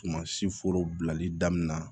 Tuma si foro bilali daminɛ na